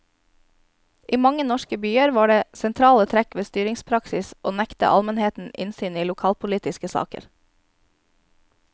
I mange norske byer var det sentrale trekk ved styringspraksis å nekte almenheten innsyn i lokalpolitiske saker.